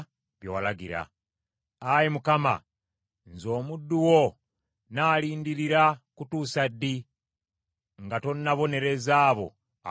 Ayi Mukama , nze omuddu wo nnaalindirira kutuusa ddi nga tonnabonereza abo abanjigganya?